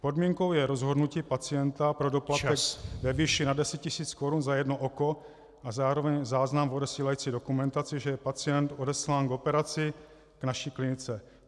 Podmínkou je rozhodnutí pacienta pro doplatek ve výši nad 10 tisíc korun za jedno oko a zároveň záznam v odesílající dokumentaci, že je pacient odeslán k operaci k naší klinice.